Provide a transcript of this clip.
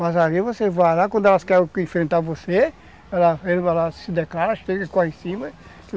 Mas aí você vai lá, quando elas querem enfrentar você, ele vai lá, se declara, chega e corre em cima.